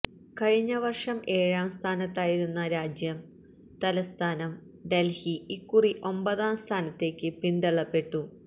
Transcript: കഴിഞ്ഞ വർഷം ഏഴാം സ്ഥാനത്തായിരുന്ന രാജ്യ തലസ്ഥാനം ഡൽഹി ഇക്കുറി ഒമ്പതാം സ്ഥാനത്തേക്കു പിന്തള്ളപ്പെട്ടു